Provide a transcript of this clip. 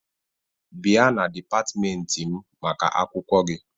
Bịa na dịpatịmentị m maka akwụkwọ gị!